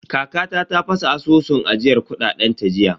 Kakata ta fasa asusun ajiyar kuɗaɗen ta jiya.